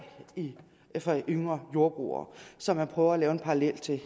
for yngre jordbrugere som man prøver at lave en parallel til